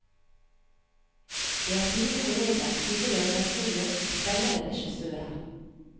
Det er fine kolleger, hyggelig arbeidsmiljø og spennende regissører.